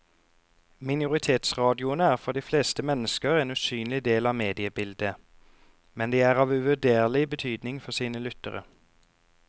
Minoritetsradioene er for de fleste mennesker en usynlig del av mediebildet, men de er av uvurderlig betydning for sine lyttere.